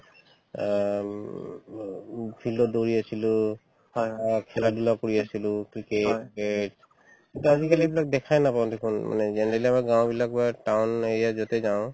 অ উম ব উব field ত দৌৰি আছিলো অ খেলা-ধূলাও কৰি আছিলো cricket bat কিন্তু আজিকালি এইবিলাক দেখা নাপাও দেখুন মানে generally আমাৰ গাঁওবিলাক বা town area ত য'তে যাওঁ